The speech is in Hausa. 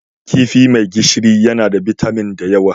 Kifi mai gishiri yana da bitamin da yawa.